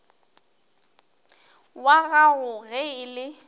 wag ago ge e le